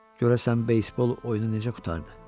Görəsən beysbol oyunu necə qurtardı?